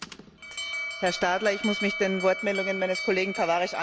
Herr Stadler, ich muss mich den Wortmeldungen meines Kollegen Tavares anschließen.